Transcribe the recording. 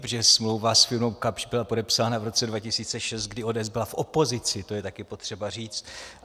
Protože smlouva s firmou Kapsch byla podepsána v roce 2006, kdy ODS byla v opozici, to je tady potřeba říct.